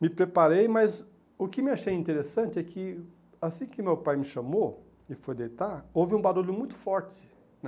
Me preparei, mas o que me achei interessante é que assim que meu pai me chamou e foi deitar, houve um barulho muito forte, né.